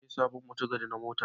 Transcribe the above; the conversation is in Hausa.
Na sai sabon mutigadi na motata.